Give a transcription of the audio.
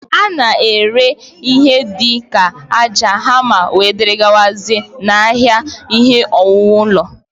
A na-ere ọtụtụ ihe dị ka ájá, hama, wdg, n'ahịa ihe owuwu ụlọ